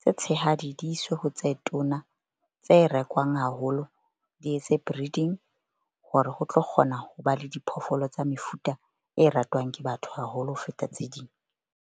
tse tshehadi di iswe ho tse tona, tse rekwang haholo, di etse breeding hore ho tlo kgona ho ba le diphoofolo tsa mefuta e ratwang ke batho haholo ho feta tse ding.